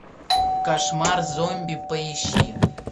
кошмар зомби поищи